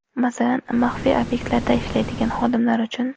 Masalan, maxfiy obyektlarda ishlaydigan xodimlar uchun.